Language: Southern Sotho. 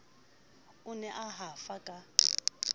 o ne a hafa ka